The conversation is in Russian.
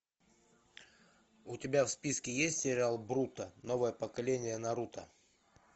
у тебя в списке есть сериал боруто новое поколение наруто